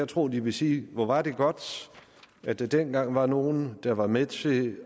tro at de vil sige hvor var det godt at der dengang var nogle der var med til